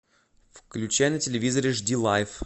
включай на телевизоре жди лайф